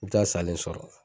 I bi taa salen sɔrɔ.